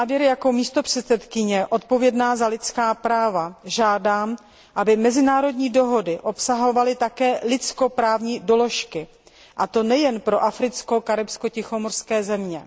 Jako místopředsedkyně odpovědná za lidská práva žádám, aby mezinárodní dohody obsahovaly také lidskoprávní doložky, a to nejen pro africké, karibské a tichomořské země.